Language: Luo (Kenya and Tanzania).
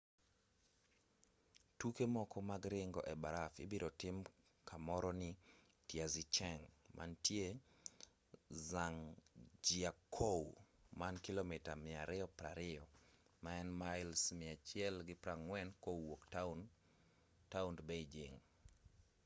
tuke moko mag ringo ebarafu ibiro tim kamoro ni taizicheng mantie zhangjiakou man kilomita 220 mails 140 kowuok taond beijing